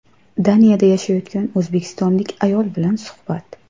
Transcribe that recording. Daniyada yashayotgan o‘zbekistonlik ayol bilan suhbat.